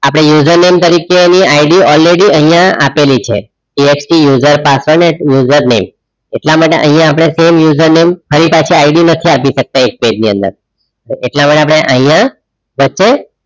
આપડે user name તરીકેની ID already અહીંયા આપેલી છે text user password ને user name એટલા માટે અહિયા આપડ઼ે સામે user name ફરી પાછી ID નથી આપી શકતા એ ટેગ ની વેન્ડર એટલા માટે આપડે અહીંયા વચ્ચે